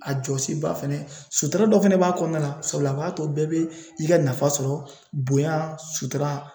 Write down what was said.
A jɔsi ba fɛnɛ sutura dɔ fɛnɛ b'a kɔnɔna na sabula b'a to bɛɛ bɛ i ka nafa sɔrɔ bonya sutura